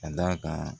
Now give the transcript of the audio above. Ka d'a kan